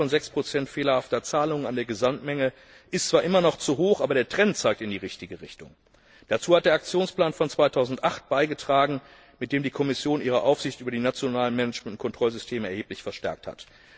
Der Anteil von 6 fehlerhafter Zahlungen an der Gesamtmenge ist zwar immer noch zu hoch, aber der Trend zeigt in die richtige Richtung. Dazu hat der Aktionsplan von 2008 beigetragen, mit dem die Kommission ihre Aufsicht über die nationalen Management und Kontrollsysteme erheblich verstärkt hat.